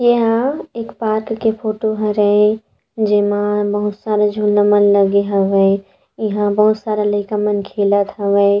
ये ह एक पार्क के फोटो हरे जेमा बहुत सारा झूला मन लगे हावय ईहाँ बहुत सारा लइका मन खेलत हावय।